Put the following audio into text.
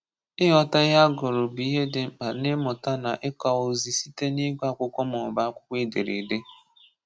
Ịghọta ihe a gụrụ bụ ihe dị mkpa n’ịmụta na ịkowa ozi site n’ịgụ akwụkwọ maọbụ akwụkwọ edereede.